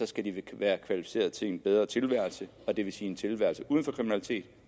skal de være kvalificeret til en bedre tilværelse og det vil sige en tilværelse uden for kriminalitet